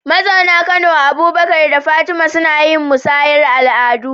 Mazauna Kano, Abubakar da Fatima, suna yin musayar al’adu